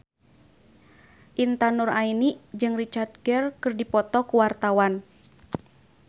Intan Nuraini jeung Richard Gere keur dipoto ku wartawan